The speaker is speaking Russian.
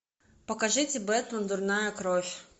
покажите бэтмен дурная кровь